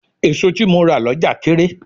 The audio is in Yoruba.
Èso tí mo rà lọ́jà kééré.